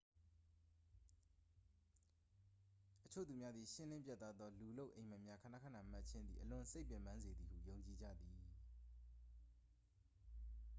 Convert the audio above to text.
အချို့သူများသည် ရှင်းလင်းပြတ်သားသော လူလုပ် အိပ်မက်များ ခဏခဏမက်ခြင်းသည် အလွန်စိတ်ပင်ပန်းစေသည်ဟု ယုံကြည်ကြသည်